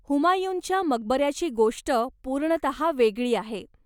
हुमायूनच्या मकबऱ्याची गोष्ट पूर्णतः वेगळी आहे.